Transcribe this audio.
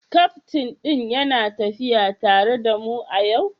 Kaftin ɗin yana tafiya tare da mu yau?